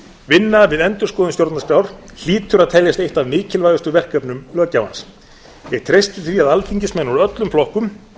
vinna við endurskoðun stjórnarskrár hlýtur að teljast eitt af mikilvægustu verkefnum löggjafans ég treysti því að alþingismenn úr öllum flokkum